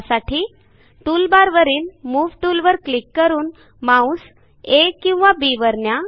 त्यासाठी टूलबारवरील मूव टूलवर क्लिक करून माऊस आ किंवा बी वर न्या